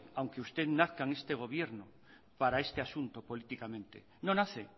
aunque usted nazca en este gobierno para este asunto políticamente no nace